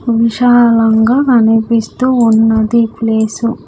విశాలంగా కనిపిస్తూ ఉన్నది ప్లేసు .